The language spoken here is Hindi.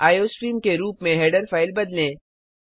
आईओस्ट्रीम के रूप में हेडर फ़ाइल बदलें